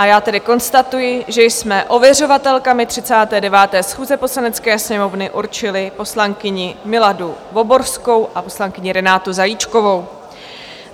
A já tedy konstatuji, že jsme ověřovatelkami 39. schůze Poslanecké sněmovny určili poslankyni Miladu Voborskou a poslankyni Renátu Zajíčkovou.